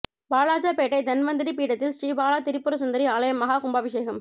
வாலாஜாபேட்டை தன்வந்திரி பீடத்தில் ஸ்ரீ பாலா திரிபுரசுந்தரி ஆலய மஹா கும்பாபிஷேகம்